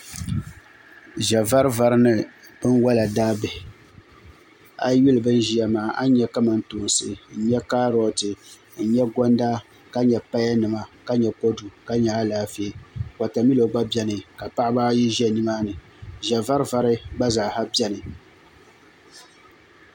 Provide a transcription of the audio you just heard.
Ʒɛvarivari ni binwola daabihi a yi yuli bin ʒiya maa a ni nyɛ kamantoosi n nyɛ kaaroti n nyɛ gonda ka nyɛ paya nima ka nyɛ kodu nima ni Alaafee wotamilo gba biɛni paɣaba ayi ʒɛ nimaani ʒɛvarivari gba bɛ nimaani